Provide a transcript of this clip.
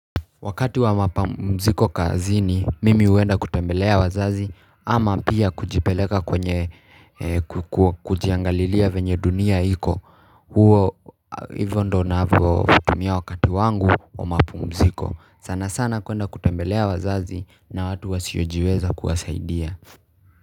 Wakati wa mapamziko kazini, mimi huenda kutembelea wazazi ama pia kujipeleka kwenye kujiangalilia venye dunia iko. Hivo ndio navyo tumia wakati wangu wa mapamziko. Sana sana kwenda kutembelea wazazi na watu wasiojiweza kuwasaidia.